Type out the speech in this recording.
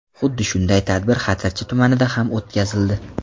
Xuddi shunday tadbir Xatirchi tumanida ham o‘tkazildi.